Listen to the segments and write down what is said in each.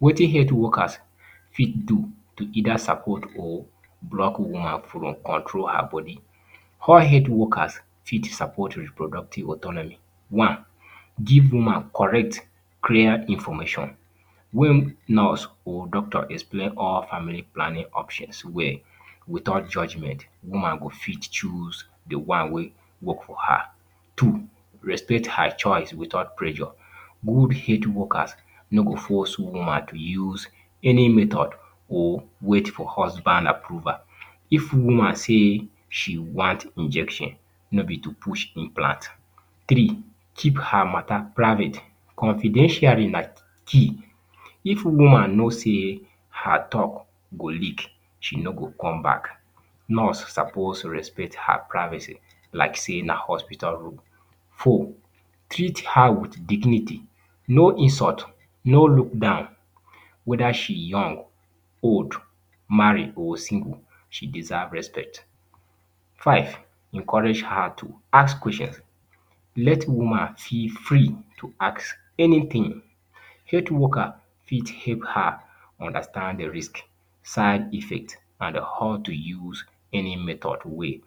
Wetin health workers fit do to either support or block woman from control her body. How health workers fit sapot reproductive autonomy. One, give woman correct clear information. When nurse or doctors explain all family planning options well, without judgement, woman go fit chose the one wey go work for her. Two, respect her choice without pressure. If health workers no go force woman to use any method or wait for husband approval. If woman say, she want injection, no be to push implant. Three, keep her matter private. Confidentiality na key. If woman know say her talk go leak, she no go come back. Nurse suppose respect her privacy. Like say na hospital room. Four, treat her with dignity. No insult, no look down. Whether she young, old, married or single, she deserve respect. Five, encourage her to ask questions. Let woman feel free to ask anything. Health worker fit help her understand the risk, side effects and how to use any method way.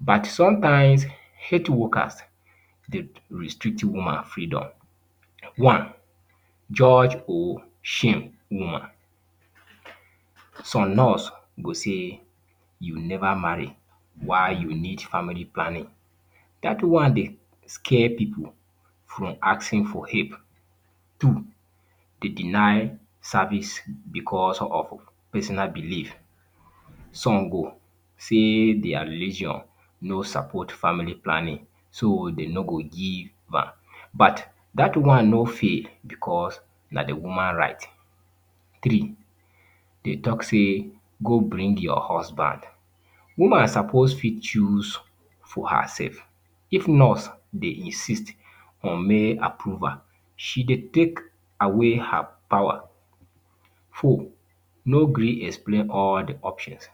But, sometimes, health workers dey restrict woman freedom. One, judge or shame woman. Some nurse go say, “You never marry, why you need family planning?” Dat one dey scare pipu from asking for help. Two, dey deny service because of personal belief. Some go say their religion no sapot family planning, so dem no go give am. But, dat one no fair because na the woman right. Three, dey talk say go bring your husband. Woman suppose fit chose for herself. If nurse dey insist on male approval, she dey take away her power. Four, no gree explain all the options.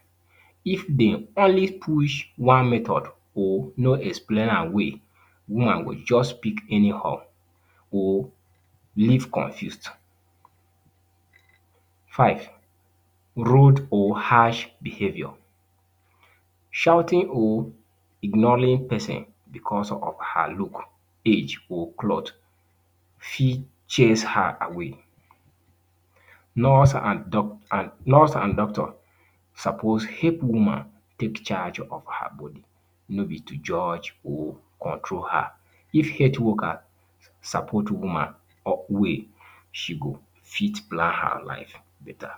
If dey only push one method or no explain am well, woman go just pick anyhow or leave confused. Five, rude or harsh behavior. Shouting or ignoring pesin because of her look, cloth or age fit chase her away. Nurse and doctor suppose help woman take charge of her body, no be to judge or control her. If health workers sapot woman well, she fit plan her life better.